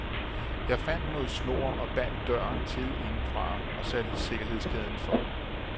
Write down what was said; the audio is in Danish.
Jeg fandt noget snor og bandt døren til indefra og satte sikkerhedskæden for.